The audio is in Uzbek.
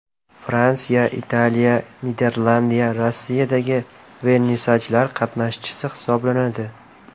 Fransiya, Italiya, Niderlandiya, Rossiyadagi vernisajlar qatnashchisi hisoblanadi.